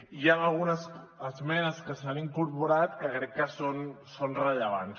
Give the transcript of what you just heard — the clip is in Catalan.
i hi han algunes esmenes que s’han incorporat que crec que són rellevants